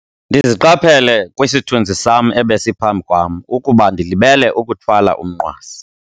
Ndiziqaphele kwisithunzi sam ebesiphambi kwam ukuba ndilibele ukuthwala umnqwazi.